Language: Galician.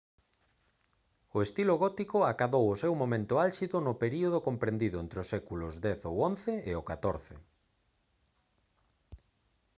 o estilo gótico acadou o seu momento álxido no período comprendido entre os séculos x ou xi e o xiv